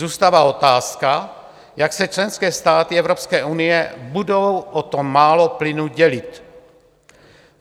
Zůstává otázka, jak se členské státy Evropské unie budou o to málo plynu dělit.